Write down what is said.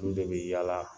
Olu de bɛ yaala